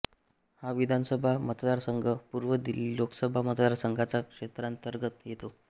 हा विधानसभा मतदारसंघ पूर्व दिल्ली लोकसभा मतदारसंघाच्या क्षेत्रांतर्गत येतो